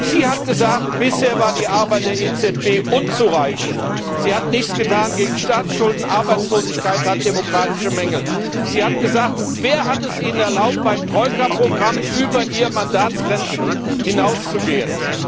Sie hat gesagt Bisher war die Arbeit der EZB unzureichend, sie hat nichts getan gegen Staatsschulden und Arbeitslosigkeit und hat demokratische Mängel. Sie hat gesagt Wer hat es ihr erlaubt, beim Troika Programm über ihre Mandatsgrenzen hinauszugehen?